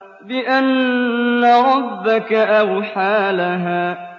بِأَنَّ رَبَّكَ أَوْحَىٰ لَهَا